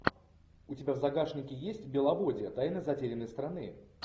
у тебя в загашнике есть беловодье тайна затерянной страны